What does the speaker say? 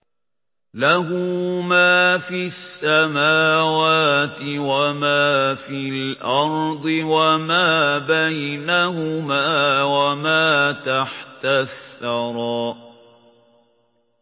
لَهُ مَا فِي السَّمَاوَاتِ وَمَا فِي الْأَرْضِ وَمَا بَيْنَهُمَا وَمَا تَحْتَ الثَّرَىٰ